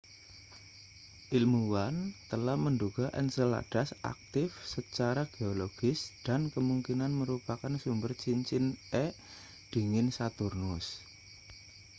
ilmuwan telah menduga enceladus aktif secara geologis dan kemungkinan merupakan sumber cincin e dingin saturnus